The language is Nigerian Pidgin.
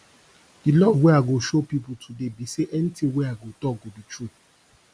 di love wey i go show people today be say anything wey i go talk go be true